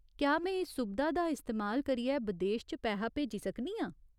क्या में इस सुबधा दा इस्तेमाल करियै बदेश च पैहा भेजी सकनी आं ?